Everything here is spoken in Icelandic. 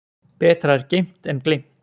Betra er geymt en gleymt.